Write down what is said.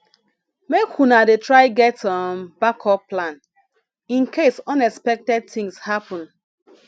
make una dey try get um backup plan incase unexpected tins happen